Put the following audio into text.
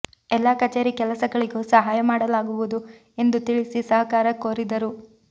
ಎಲ್ಲಾ ಕಚೇರಿ ಕೆಲಸಗಳಿಗೂ ಸಹಾಯ ಮಾಡಲಾಗುವುದು ಎಂದು ತಿಳಿಸಿ ಸಹಕಾರ ಕೋರಿದರು